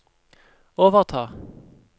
overta